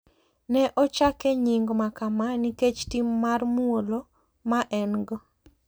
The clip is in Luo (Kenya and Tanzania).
Ne ochake nying makama nikech tim mar muolo ma en go.